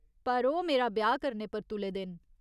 पर ओह् मेरा ब्याह् करने पर तुले दे न।